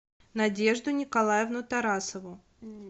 надежду николаевну тарасову